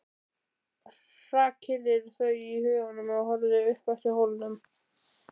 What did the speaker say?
Hrakyrðir þau í huganum og horfir upp eftir hólnum.